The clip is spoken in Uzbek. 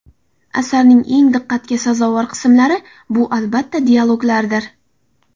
Asarning eng diqqatga sazovor qismlari bu albatta dialoglardir.